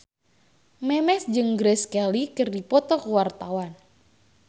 Memes jeung Grace Kelly keur dipoto ku wartawan